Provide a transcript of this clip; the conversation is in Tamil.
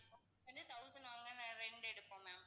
இது thousand rent எடுப்போம் ma'am